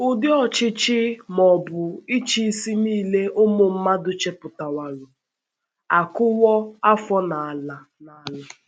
Ụdị ọchịchị ma ọ bụ ịchịisi nile ụmụ mmadụ chepụtaworo akụwo afọ n’ala n’ala.